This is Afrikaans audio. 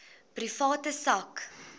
private sak